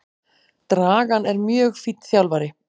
Dragan er mjög fínn þjálfari.